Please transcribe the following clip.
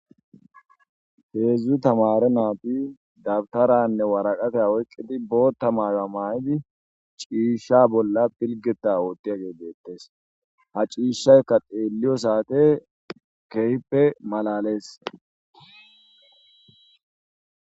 heedzdzu tamare naati dabtaranne waraqate oyqqidi boota mare a maayidi ciisha bolla pilgeta oottiya geedeettes ha ciishaykka xeelliyo saate keyppe malalees